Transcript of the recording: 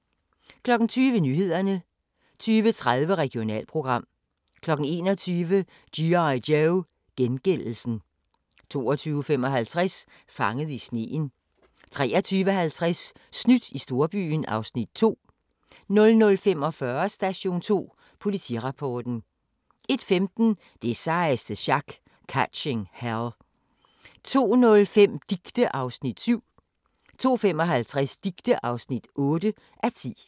20:00: Nyhederne 20:30: Regionalprogram 21:00: G.I. Joe: Gengældelsen 22:55: Fanget i sneen 23:50: Snydt i storbyen (Afs. 2) 00:45: Station 2 Politirapporten 01:15: Det sejeste sjak - Catching Hell 02:05: Dicte (7:10) 02:55: Dicte (8:10) 04:00: Nyhederne og Vejret (søn-tor)